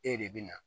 E de bɛ na